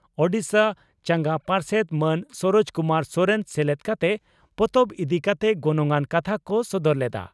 ᱳᱰᱤᱥᱟ ᱪᱟᱸᱜᱟ ᱯᱟᱨᱥᱮᱛ ᱢᱟᱱ ᱥᱚᱨᱚᱡᱽ ᱠᱩᱢᱟᱨ ᱥᱚᱨᱮᱱ ᱥᱮᱞᱮᱫ ᱠᱟᱛᱮ ᱯᱚᱛᱚᱵ ᱤᱫᱤ ᱠᱟᱛᱮ ᱜᱚᱱᱚᱝᱟᱱ ᱠᱟᱛᱷᱟ ᱠᱚ ᱥᱚᱫᱚᱨ ᱞᱮᱫᱼᱟ ᱾